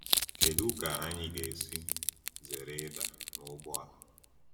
Kedu ka anyị ga-esi zere ịda n’ụgbọ a?